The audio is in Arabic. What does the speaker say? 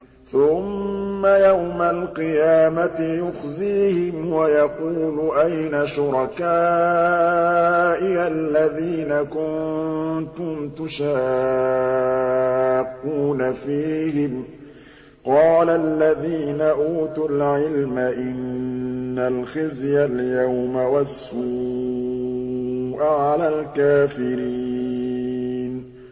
ثُمَّ يَوْمَ الْقِيَامَةِ يُخْزِيهِمْ وَيَقُولُ أَيْنَ شُرَكَائِيَ الَّذِينَ كُنتُمْ تُشَاقُّونَ فِيهِمْ ۚ قَالَ الَّذِينَ أُوتُوا الْعِلْمَ إِنَّ الْخِزْيَ الْيَوْمَ وَالسُّوءَ عَلَى الْكَافِرِينَ